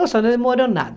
Nossa, não demorou nada.